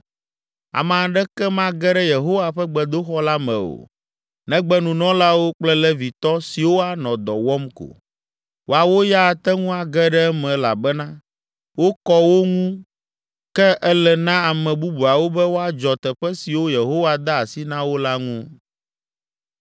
Ame aɖeke mage ɖe Yehowa ƒe gbedoxɔ la me o negbe nunɔlawo kple Levitɔ siwo anɔ dɔ wɔm ko. Woawo ya ate ŋu age ɖe eme elabena wokɔ wo ŋu ke ele na ame bubuawo be woadzɔ teƒe siwo Yehowa de asi na wo la ŋu.